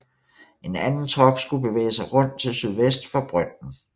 En anden trop skulle bevæge sig rundt til sydvest for brønden